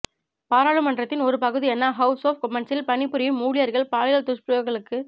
பாராளுமன்றத்தின் ஒரு பகுதியான ஹவுஸ் ஒஃப் கொமன்ஸில் பணி புரியும் ஊழியர்கள் பாலியல் துஷ்பிரயோகங்களுக்க